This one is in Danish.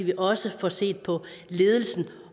vi også får set på ledelsen